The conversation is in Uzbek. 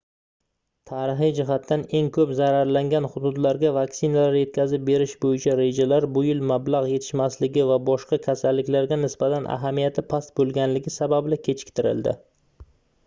tarixiy jihatdan eng koʻp zararlangan hududlarga vaksinalar yetkazib berish boʻyicha rejalar bu yil mablagʻ yetishmasligi va boshqa kasalliklarga nisbatan ahamiyat past boʻlganligi sababli kechiktirildi